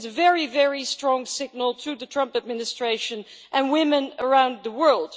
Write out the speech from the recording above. It sends a very strong signal to the Trump administration and women around the world.